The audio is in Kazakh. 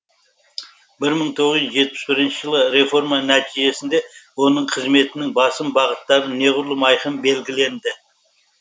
бір мың тоғыз жүз жетпіс бірінші жылы реформа нәтижесінде оның қызметінің басым бағыттары неғұрлым айқын белгіленді